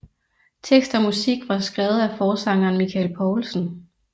Tekst og musik var skrevet af forsangeren Michael Poulsen